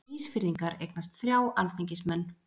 Ísfirðingar eignast þrjá alþingismenn.